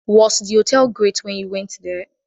Was the hotel great when you went there?